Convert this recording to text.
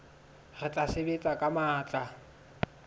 re tla sebetsa ka matla